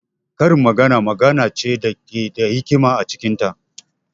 Karin magana magana ce da ke da hikima a cikin ta.